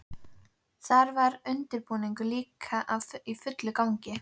Þar var undirbúningur líka í fullum gangi.